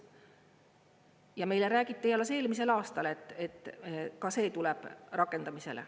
Ja meile räägiti alles eelmisel aastal, et ka see tuleb rakendamisele.